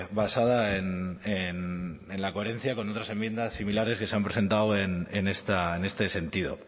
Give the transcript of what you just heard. basada en la coherencia con otras enmiendas similares que se han presentado en este sentido